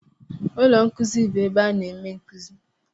Ụlọ nkuzi bụ ebe a na-eme nkuzi.